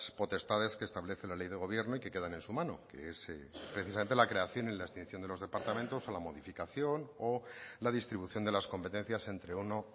potestades que establece la ley de gobierno y que quedan en su mano que es precisamente la creación y la extinción de los departamentos o la modificación o la distribución de las competencias entre uno